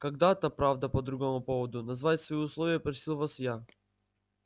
когда-то правда по другому поводу назвать свои условия просил вас я